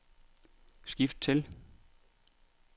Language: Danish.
skift til